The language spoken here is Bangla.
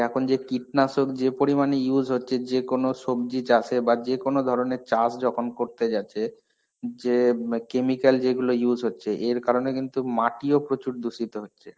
এখন যে কীটনাশক যে পরিমানে use হচ্ছে যেকোনো সবজি চাষে বা যেকোনো ধরনের চাষ যখন করতে যাচ্ছে. যে ইম chemical যেগুলো use হচ্ছে এর কারণে কিন্তু মাটিও প্রচুর দুষিত হচ্ছে.